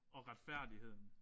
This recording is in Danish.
Og retfærdigheden